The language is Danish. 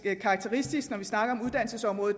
er karakteristisk når